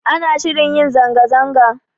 Ana shirin yin zanga-zanga